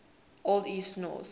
old east norse